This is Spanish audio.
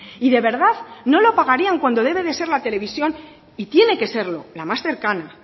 y de verdad no lo pagarían cuando debe de ser la televisión y tiene que serlo la más cercana